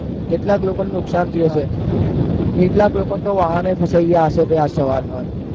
કેટલાક લોકોને નુકસાન થયું હશે કેટલાક લોકોને તો વાહન ય ફસાઈ ગયા હશે આજ સવારમાં